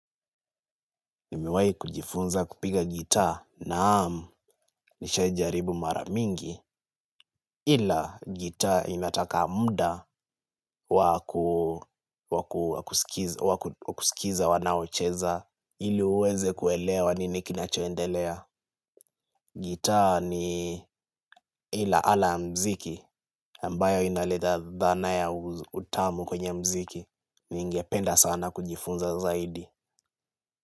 Nimiwahi kujifunza kupiga gita, naam nishawahi jaribu mara mingi ila gita inataka muda. Wakusikiza wanaocheza ili uweze kuelewa nini kinachoendelea. Gita ni ila ala muziki ambayo inaleta dhana ya utamu kwenye muziki na ningependa sana kujifunza zaidi.